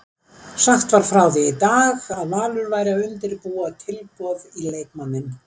Greint var frá því í dag Valur væri að undirbúa tilboð í leikmanninn.